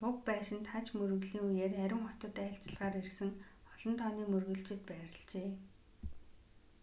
уг байшинд хаж мөргөлийн үеэр ариун хотод айлчлахаар ирсэн олон тооны мөргөлчид байрлажээ